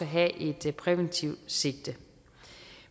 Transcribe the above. have et præventivt sigte